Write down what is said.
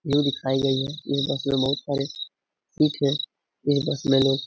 ये दिखाई गयी है ये बस में बहुत सारे पीछे यह बस में लोग --